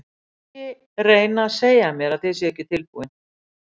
Og ekki reyna að segja mér að þið séuð ekki tilbúin.